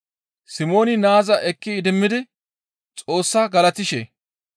Simooni naaza ekki idimmidi Xoossaa galatishe,